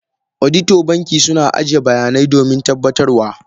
Auditor banki suna ajiye bayanai domin tabbatar wa.